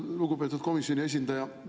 Lugupeetud komisjoni esindaja!